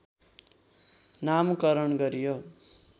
नामकरण गरियो